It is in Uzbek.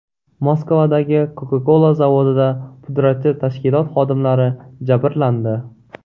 Moskvadagi Coca-Cola zavodida pudratchi tashkilot xodimlari jabrlandi.